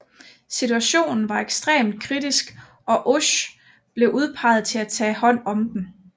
Situationen var ekstremt kritisk og Oesch blev udpeget til at tage hånd om den